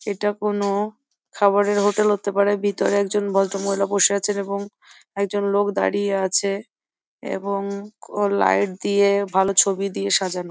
এটা কোনো খাবারের হোটেল হতে পারে। ভিতরে একজন ভদ্রমহিলা বসে আছেন এবং একজন লোক দাঁড়িয়ে আছে এবং লাইট দিয়ে ভালো ছবি দিয়ে সাজানো।